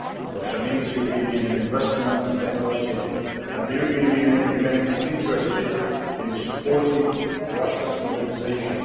Russia needs European Union investment and technology, and the European Union remains interested in supporting Russia's modernisation.